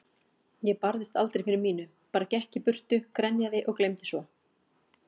Ég barðist aldrei fyrir mínu, bara gekk í burtu, grenjaði og gleymdi svo.